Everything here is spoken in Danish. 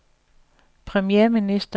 premierminister